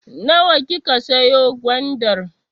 Nawa kika siyo gwandar?